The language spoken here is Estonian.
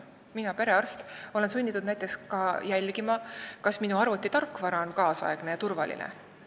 Mina kui perearst olen sunnitud näiteks jälgima ka seda, kas mu arvuti tarkvara on ajakohane ja turvaline.